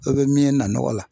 O bɛ min ye na nɔgɔ la